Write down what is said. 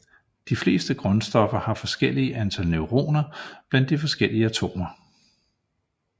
De fleste grundstoffer har forskellige antal neutroner blandt de forskellige atomer